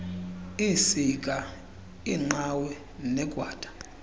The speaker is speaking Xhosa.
iisiga iinqawe negwada